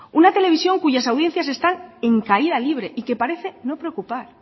una televisión cuyas audiencias están en caída libre y que parece no preocupar